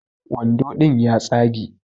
Wando ɗin ya tsage